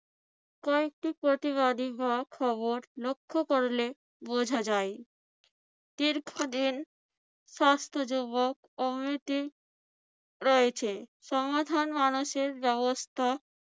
কয়েকটি প্রতিবাদী বা খবর লক্ষ্য করলে বোঝা যায়। দীর্ঘদিন স্বাস্থ্য যুবক কমিটি রয়েছে। সমাধান মানুষের ব্যবস্থা